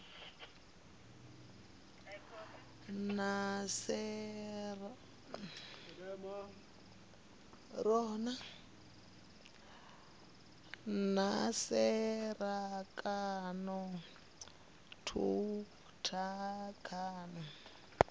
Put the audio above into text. na tserakano thukhu kana ha